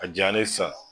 A jalen sa